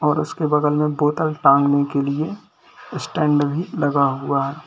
और उसके बगल में बोतल टांगने के लिए स्टैंड भी लगा हुआ है।